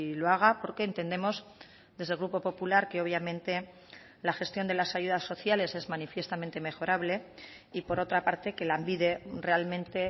lo haga porque entendemos desde el grupo popular que obviamente la gestión de las ayudas sociales es manifiestamente mejorable y por otra parte que lanbide realmente